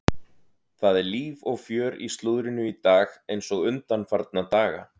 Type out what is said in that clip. Það er líf og fjör í slúðrinu í dag eins og undanfarna daga.